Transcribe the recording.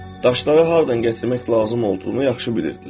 Daşları hardan gətirmək lazım olduğunu yaxşı bilirdilər.